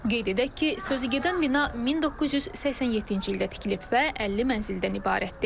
Qeyd edək ki, sözügedən bina 1987-ci ildə tikilib və 50 mənzildən ibarətdir.